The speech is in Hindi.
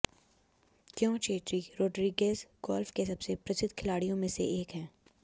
क्यों ची ची रोड्रिगेज गोल्फ के सबसे प्रसिद्ध खिलाड़ियों में से एक है